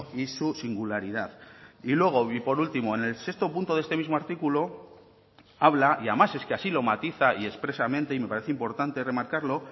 y su singularidad y luego y por último en el sexto punto de este mismo artículo habla y además es que así lo matiza y expresamente y me parece importante remarcarlo